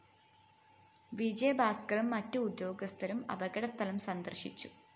വിജയഭാസ്‌കറും മറ്റു ഉദ്യോഗസ്ഥരും അപകടസ്ഥലം സന്ദര്‍ശിച്ചു